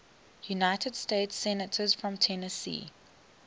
united states senators from tennessee